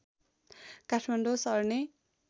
काठमाडौँ सर्ने